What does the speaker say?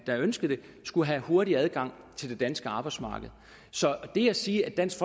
der ønskede det skulle have hurtig adgang til det danske arbejdsmarked så det at sige at dansk